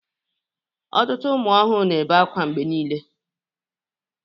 Ọtụtụ ụmụ ọhụrụ na-ebe akwa mgbe niile